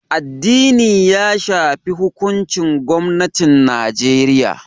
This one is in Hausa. Addini ya shafi hukuncin gwamnatin Najeriya